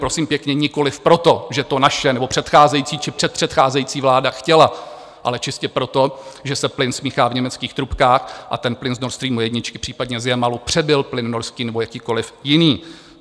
Prosím pěkně, nikoliv proto, že to naše nebo předcházející či předpředcházející vláda chtěla, ale čistě proto, že se plyn smíchá v německých trubkách a ten plyn z Nord Stream 1, případně z Jamalu, přebil plyn norský nebo jakýkoliv jiný.